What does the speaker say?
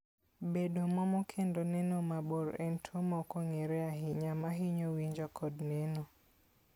Bedo momo kendo neno mabor en tuwo ma ok ong'ere ahinya ma hinyo winjo kod neno.